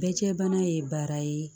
Bɛɛcɛbana ye baara ye